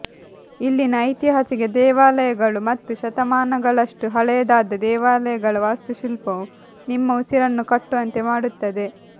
ಇಲ್ಲಿನ ಐತಿಹಾಸಿಕ ದೇವಾಲಯಗಳು ಮತ್ತು ಶತಮಾನಗಳಷ್ಟು ಹಳೆಯದಾದ ದೇವಾಲಯಗಳ ವಾಸ್ತುಶಿಲ್ಪವು ನಿಮ್ಮ ಉಸಿರನ್ನು ಕಟ್ಟುವಂತೆ ಮಾಡುತ್ತದೆ